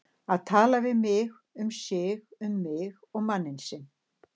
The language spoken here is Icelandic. Að tala við mig um sig og mig og manninn sinn!